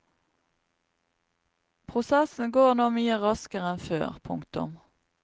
Prosessen går nå mye raskere enn før. punktum